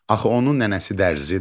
Axı onun nənəsi dərzidir.